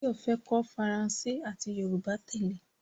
Báyọ̀ fẹ́ kọ́ Faransé àti Yorùbá tẹ́lẹ̀